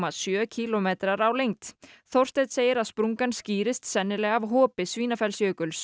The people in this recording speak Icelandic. sjö kílómetrar á lengd Þorsteinn segir að sprungan skýrist sennilega af hopi